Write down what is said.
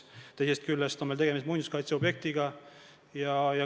Teisest küljest on meil tegemist muinsuskaitseobjektiga.